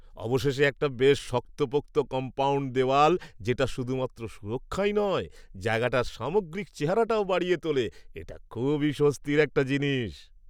অবশেষে একটা বেশ শক্তপোক্ত কম্পাউণ্ড দেওয়াল যেটা শুধুমাত্র সুরক্ষাই নয় জায়গাটার সামগ্রিক চেহারাটাও বাড়িয়ে তোলে, এটা খুবই স্বস্তির একটা জিনিস।